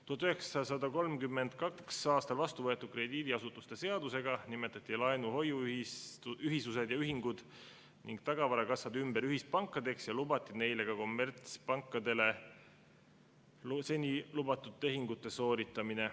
1932. aastal vastu võetud krediidiasutuste seadusega nimetati laenu-hoiuühisused ja -ühingud ning tagavarakassad ümber ühispankadeks ja neil lubati sooritada ka seni kommertspankadele lubatud tehinguid.